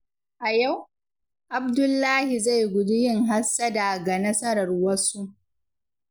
A yau, Abdullahi zai guji yin hassada ga nasarar wasu.